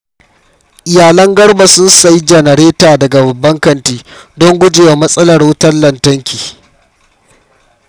Iyalan Garba sun sayi janareta daga babban kanti don guje wa matsalar wutar lantarki.